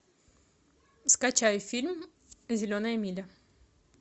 скачай фильм зеленая миля